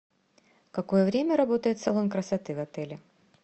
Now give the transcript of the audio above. в какое время работает салон красоты в отеле